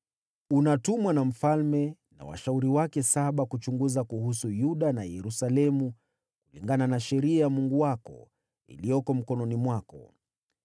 Unatumwa na mfalme na washauri wake saba kuchunguza kuhusu Yuda na Yerusalemu kulingana na Sheria ya Mungu wako, iliyoko mkononi mwako.